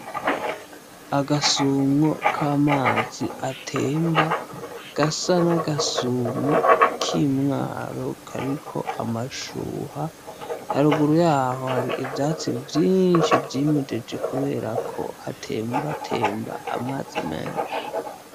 Agasumwo k'amazi atemba gasa n'agasumwo k'imwaro kariko amashuha, haruguru yaho hari ivyatsi vyinshi vy'imejeje, kubera ko hatembatemba amazi menshi.